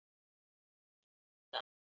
Mínar umliðnu ástir